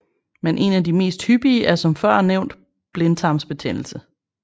Men en af de mest hyppige er som førnævnt blindtarmsbetændelse